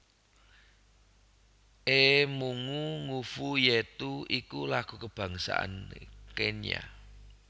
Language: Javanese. Ee Mungu Nguvu Yetu iku lagu kabangsané Kenya